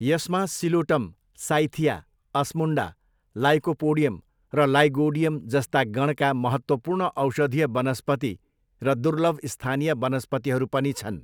यसमा Psilotum, Cyathea, Osmunda, Lycopodium र Lygodium जस्ता गणका महत्त्वपूर्ण औषधीय वनस्पति र दुर्लभ स्थानीय वनस्पतिहरू पनि छन्।